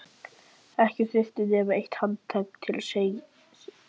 Ekki þurfti nema eitt handtak til að setja negluna í.